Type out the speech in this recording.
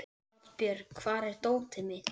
Oddbjörg, hvar er dótið mitt?